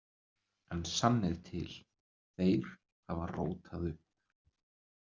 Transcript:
En sannið til: Þeir hafa rótað upp.